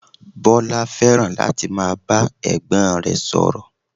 Bọlá fẹ́ràn láti máa bá ẹ̀gbọ́n rẹ̀ sọ̀rọ̀